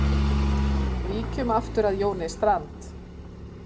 Víkjum aftur að Jóni Strand.